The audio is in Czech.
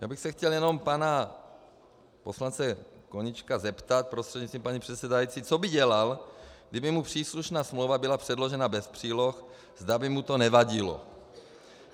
Já bych se chtěl jenom pana poslance Koníčka zeptat prostřednictvím paní předsedající, co by dělal, kdyby mu příslušná smlouva byla předložena bez příloh, zda by mu to nevadilo.